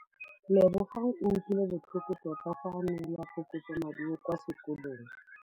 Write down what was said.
Lebogang o utlwile botlhoko tota fa a neelwa phokotsômaduô kwa sekolong.